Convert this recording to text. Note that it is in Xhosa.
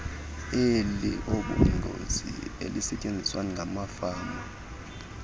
eliobungozi elisetyenziswa ngamafama